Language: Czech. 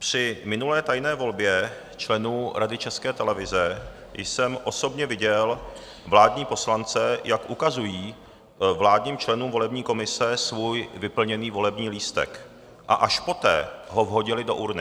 Při minulé tajné volbě členů Rady České televize jsem osobně viděl vládní poslance, jak ukazují vládním členům volební komise svůj vyplněný volební lístek, a až poté ho vhodili do urny.